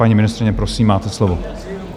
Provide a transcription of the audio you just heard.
Paní ministryně, prosím, máte slovo.